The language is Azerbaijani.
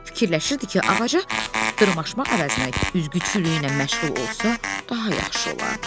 Fikirləşirdi ki, ağaca dırmaşmaq əvəzinə üzgüçülüklə məşğul olsa daha yaxşı olardı.